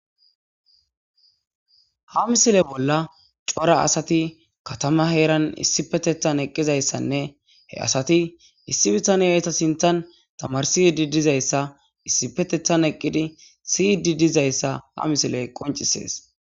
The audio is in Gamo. Ha missile bollani corra assati ha misile bollani eqidayastanne issi bittaneyi etta sinithani tamarisidi dizayssa issipetethani eqizayassane siyidi dizayissa ha misileyi qonccisesi